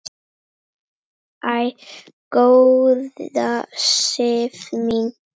Æ, góða Sif mín!